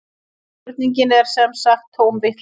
Spurningin er sem sagt tóm vitleysa